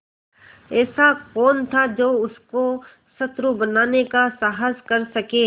ऐसा कौन था जो उसको शत्रु बनाने का साहस कर सके